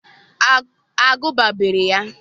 agụba beere ya.